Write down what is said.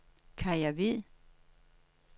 Kaja Hvid